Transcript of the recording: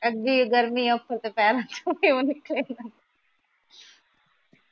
ਅੱਗੇ ਗਰਮੀ ਆ